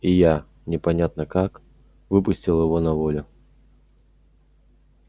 и я непонятно как выпустил его на волю